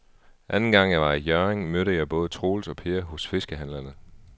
Anden gang jeg var i Hjørring, mødte jeg både Troels og Per hos fiskehandlerne.